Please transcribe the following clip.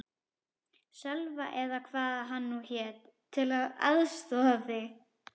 Sölva eða hvað hann nú hét, til að aðstoða þig.